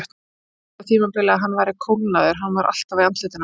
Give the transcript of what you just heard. Ég hélt á tímabili að hann væri klónaður, hann var alltaf í andlitinu á mér.